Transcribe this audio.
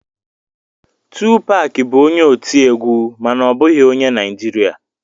Tupac bụ onye otiegwu mana ọ bụghị onye Naijiria